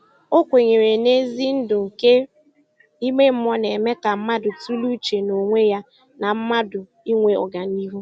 O kwenyere na ezi ndu nke ime mmụọ na - eme ka mmadụ tụlee uche n'onwe ya na mmadụ inwe ọganihu